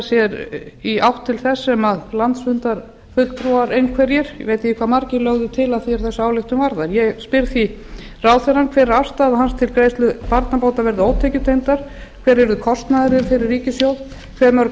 sér í átt til þess sem landsfundarfulltrúa einhverjir ég veit ekki hve margir lögðu til að því er þessa ályktun varðar ég spyr því ráðherrann fyrstu hver er afstaða ráðherra til þess að greiðslur barnabóta verði ótekjutengdar og hver yrði kostnaðurinn fyrir ríkissjóð annars hve mörg